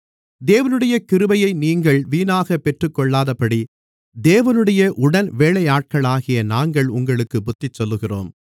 தேவனுடைய கிருபையை நீங்கள் வீணாகப் பெற்றுக்கொள்ளாதபடி தேவனுடைய உடன்வேலையாட்களாகிய நாங்கள் உங்களுக்குப் புத்திசொல்லுகிறோம்